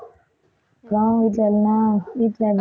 அப்புறம் வீட்டில எல்லாம் வீட்டில